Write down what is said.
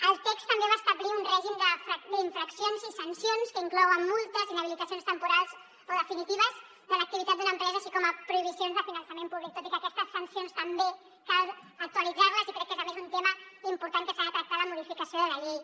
el text també va establir un règim d’infraccions i sancions que inclou multes inhabilitacions temporals o definitives de l’activitat d’una empresa així com prohibicions de finançament públic tot i que aquestes sancions també cal actualitzar les i crec que és a més un tema important que s’ha de tractar a la modificació de la llei